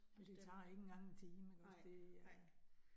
Ej men det tager ikke engang en time ikke også. Det er